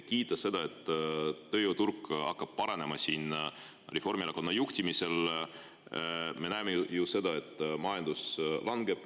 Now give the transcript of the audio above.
Kiita seda, et tööjõuturg hakkab paranema Reformierakonna juhtimisel – me näeme ju seda, et majandus langeb.